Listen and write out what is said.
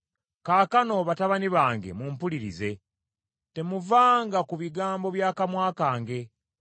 Kaakano, batabani bange mumpulirize, temuvanga ku bigambo bya kamwa kange.